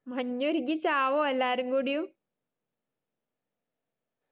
മഞ്ഞുരുകി ചാവുമോ എല്ലാരും കൂടിയും